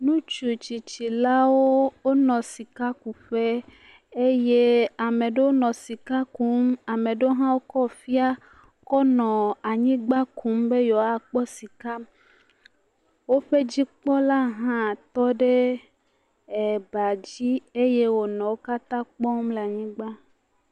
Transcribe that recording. Ŋutsu tsitsilawo, wonɔ sikakuƒe eye ame ɖewo nɔ sika kum, amae ɖewo hã wokɔ fiaa kɔ nɔ anyigba kum be yeawoakpɔ sika. Woƒe dzikpɔla hã tɔ ɖe ebadzi eye wònɔ wo katã kpɔm le anyigba.